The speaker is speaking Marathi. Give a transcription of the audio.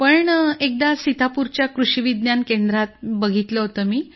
पण एकदा सीतापूरच्या कृषी विज्ञान केंद्रात बघितलं होतं